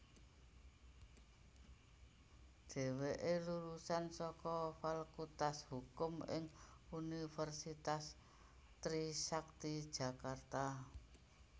Dheweké lulusan saka Fakultas Hukum ing Universitas Trisakti Jakarta